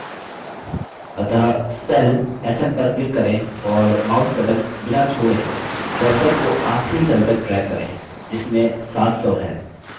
अतः cell sn पर click करें और mouse button बिना छोड़ें cursor को आखिरी cell तक drag करें जिसमें 700 है